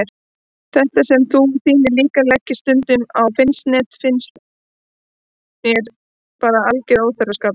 Þetta sem þú og þínir líkar leggið stund á finnst mér bara alger óþverraskapur.